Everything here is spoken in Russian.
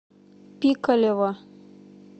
пикалево